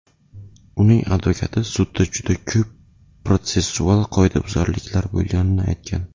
Uning advokati sudda juda ko‘p protsessual qoidabuzarliklar bo‘lganini aytgan .